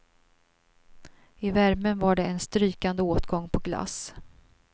I värmen var det en strykande åtgång på glass.